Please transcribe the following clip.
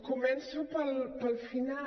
començo pel final